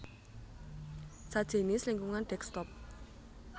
sajinis lingkungan desktop